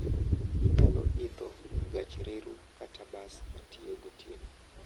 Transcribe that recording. Inyalo idho gach reru kata bas motiyo gotieno.